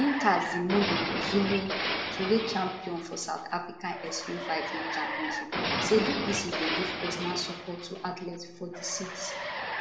nkazimulo zulu twoweight champion for south africa extreme fighting championship say du plessis dey give personal support to athletes for di cit